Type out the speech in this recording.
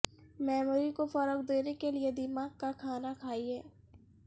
memory کو فروغ دینے کے لئے دماغ کا کھانا کھائیں